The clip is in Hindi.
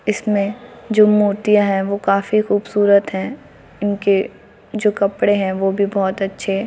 इसमें जो मूर्तियां है वह काफी खूबसूरत है इनके जो कपड़े हैं वह भी बहुत अच्छे हैं ।